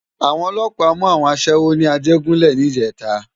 Awòn òlòpá mú áwòn aṣèwó ni Ajegunle nijètá